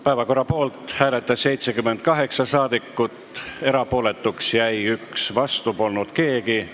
Hääletustulemused Poolt hääletas 78 saadikut, erapooletuks jäi 1, vastu polnud keegi.